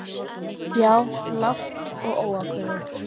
Já. lágt og óákveðið.